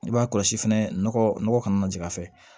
I b'a kɔlɔsi fɛnɛ nɔgɔ ka na jigin a fɛ